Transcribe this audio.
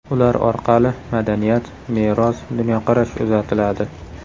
Ular orqali madaniyat, meros, dunyoqarash uzatiladi.